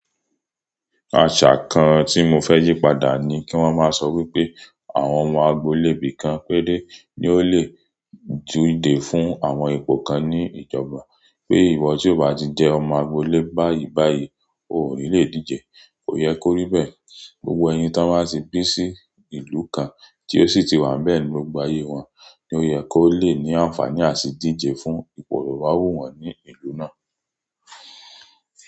Àṣà kan tí mo fẹ́ yí padà ni kí wọ́n máa sọ wípé àwọn ọmọ agbolé ibì kan péré ni ó lè díje fún àwọn ipò kan ní ìjọba, pé ìwọ tí ó bá ti jẹ́ ọmọ agbolé báyìí báyìí o ò ní lè díje. Kò yẹ kó rí bẹ́ẹ̀. Gbogbo ẹyin ti won bá ti pín sí ìlú kan tí ó sì ti wà bẹ́ẹ̀ ni gbogbo ayé wọn ni ó yẹ kó lè ní àǹfààní àti díje fún ipò to ba wu wọn ní ìlú náà.